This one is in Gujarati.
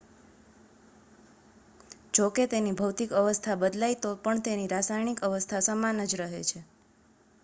જોકે તેની ભૌતિક અવસ્થા બદલાય તો પણ તેની રાસાયણિક અવસ્થા સમાન જ રહે છે